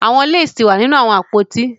The lace is in the wardrobe